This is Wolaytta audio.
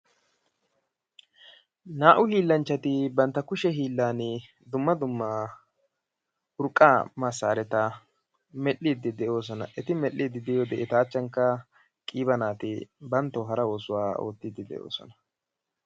Naa"u hiillanchchati bantta kushe hiillaan dumma dumma urqqaa massaareta medhdhiidi de'oosona. Eti medhdhidi de'iyode eta achchankka qiiba naati banttawu hara oosuwa oottidi de'oosona.